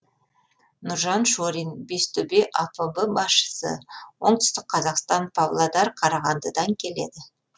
нұржан шорин бестөбе апб басшысы оңтүстік қазақстан павлодар қарағандыдан келеді